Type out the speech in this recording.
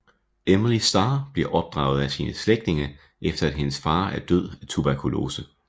Emily Starr bliver opdraget af sine slægtninge efter at hendes far er død af tuberkulose